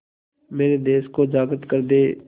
मेरे देश को जागृत कर दें